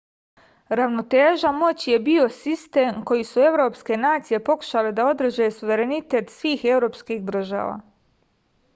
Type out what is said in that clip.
ravnoteža moći je bio sistem kojim su evropske nacije pokušale da održe suverenitet svih evropskih država